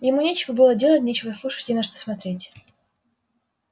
ему нечего было делать нечего слушать не на что смотреть